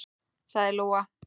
sagði Lóa.